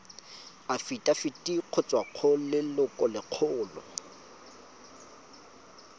afitafiti go tswa go lelokolegolo